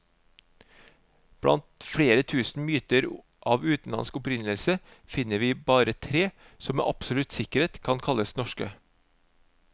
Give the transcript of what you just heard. Blant flere tusen mynter av utenlandsk opprinnelse, finner vi bare tre som med absolutt sikkerhet kan kalles norske.